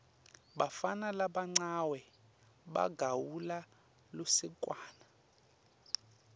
bafana labancawe bagawula lusekwane